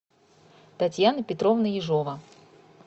татьяна петровна ежова